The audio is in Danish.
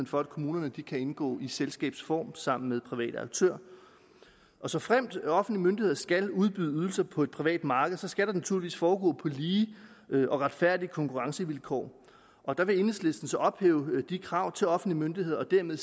for at kommunerne kan indgå i selskabsform sammen med private aktører såfremt offentlige myndigheder skal udbyde ydelser på et privat marked så skal det naturligvis foregå på lige og retfærdige konkurrencevilkår og der vil enhedslisten så ophæve de krav til offentlige myndigheder og dermed